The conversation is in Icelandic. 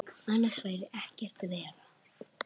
Annars væri ekkert verra.